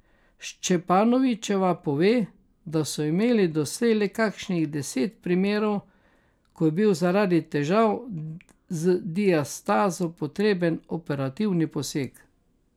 Šćepanovićeva pove, da so imeli doslej le kakšnih deset primerov, ko je bil zaradi težav z diastazo potreben operativni poseg.